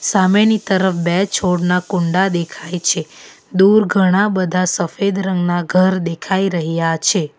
સામેની તરફ બે છોડના કુંડા દેખાય છે દૂર ઘણા બધા સફેદ રંગના ઘર દેખાઈ રહ્યા છે.